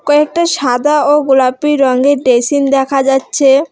কয়েকটা সাদা ও গোলাপি রঙের ডেসিন দেখা যাচ্ছে।